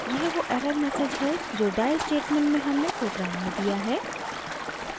यह वो error message है जो die स्टेटमेंट में हमने प्रोग्राम में दिया है